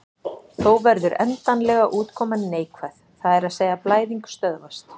Þó verður endanlega útkoman neikvæð, það er að segja blæðing stöðvast.